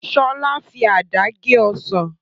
Sọlá fi àdá gé Ọsàn